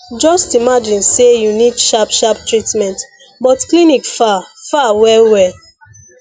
just imagine say you need sharp sharp treatment but clinic far far well well